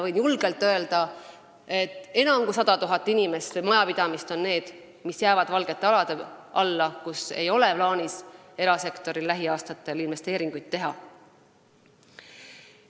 Võin julgelt öelda, et enam kui 100 000 majapidamist jäävad valgetele aladele, kus erasektoril ei ole plaanis lähiaastatel investeeringuid teha.